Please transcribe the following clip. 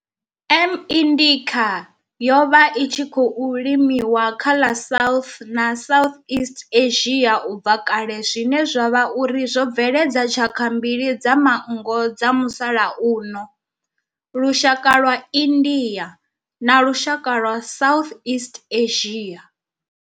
M. indica yo vha i tshi khou limiwa kha ḽa South na Southeast Asia ubva kale zwine zwa vha uri zwo bveledza tshaka mbili dza manngo dza musalauno, lushaka lwa India na lushaka lwa Southeast Asia.